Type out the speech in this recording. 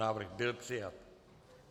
Návrh byl přijat.